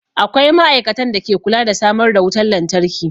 Akwai ma'aikatan da ke kula da samar da wutan lantarki.